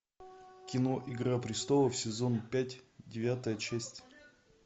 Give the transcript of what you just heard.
кино игра престолов сезон пять девятая часть